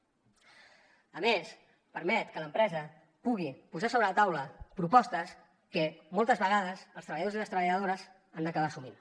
a més permet que l’empresa pugui posar sobre la taula propostes que moltes vegades els treballadors i les treballadores han d’acabar assumint